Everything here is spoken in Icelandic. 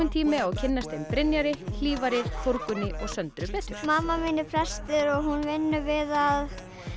tími á að kynnast þeim Brynjari hlífari Þórunni og Söndru betur mamma mín er prestur og hún vinnur við að